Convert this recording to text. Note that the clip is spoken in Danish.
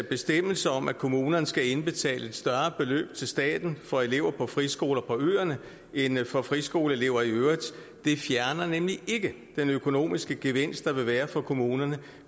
bestemmelse om at kommunerne skal indbetale et større beløb til staten for elever på friskoler på øerne end for friskoleelever i øvrigt fjerner nemlig ikke den økonomiske gevinst der vil være for kommunerne